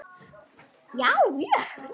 Já, mjög